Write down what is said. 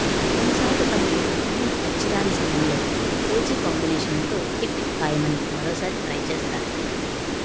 కొన్నిసార్లు తమకు టైమ్ అచ్చిరాని సమయంలో క్రేజీ కాంబినేషన్లతో హిట్ ఖాయమని మరోసారి ట్రై చేస్తారు